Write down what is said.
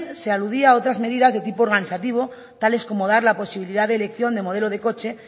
se aludían otras medidas de tipo organizativo tales como dar la posibilidad de elección de modelo de coche